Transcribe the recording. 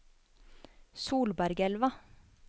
Solbergelva